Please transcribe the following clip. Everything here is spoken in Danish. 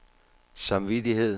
samvittighed